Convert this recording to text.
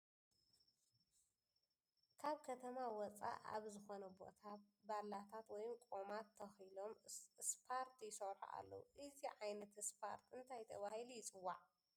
ካብ ከተማ ወፃእ ኣብዝኾነ ቦታ ባላታት ወይም ቖማት ተኺሎም እስፖርት ይሰርሑ ኣለዉ ፡ እዚ ዓይነት እስፖርት እታይ ተባሂሉ ይፅዋዕ ?